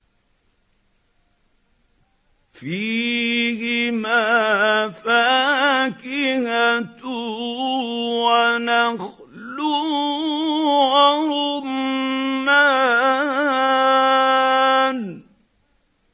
فِيهِمَا فَاكِهَةٌ وَنَخْلٌ وَرُمَّانٌ